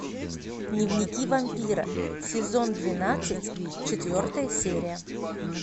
дневники вампира сезон двенадцать четвертая серия